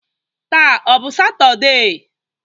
Taa ọ bụ Satọde?